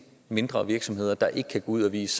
mindre virksomheder der ikke kan gå ud og vise